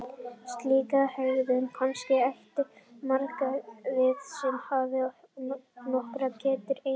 Slíka hegðun kannast eflaust margir við sem hafa haft nokkra ketti í einu á heimilinu.